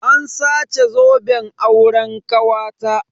An sace zoben auren kawata.